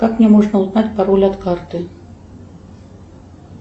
как мне можно узнать пароль от карты